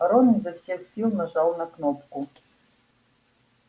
рон изо всех сил нажал на кнопку